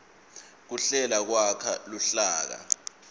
kuhlela kwakha luhlaka